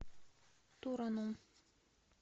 тураном